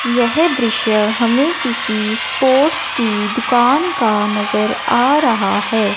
यह दृश्य हमें किसी स्पोर्ट्स की दुकान का नजर आ रहा है।